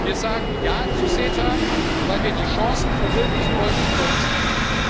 Wir sagen Ja zu CETA, weil wir die Chancen verwirklichen wollen, die vor uns liegen.